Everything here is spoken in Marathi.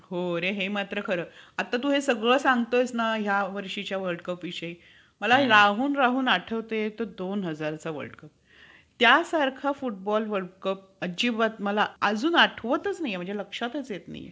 हो रे हे मात्र खरं. आता तू हे सगळं सांगतोय ना या वर्षीचा world cup विषयी मला राहून राहून आठवतो ये तो दोन हजारचा world cup त्यासारखा football world cup मला अजिबात अजून आठवतच नाहीये माझ्या लक्षातच येत नाहीये.